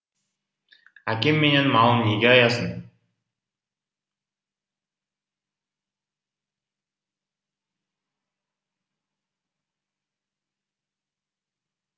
әкем менен малын неге аясын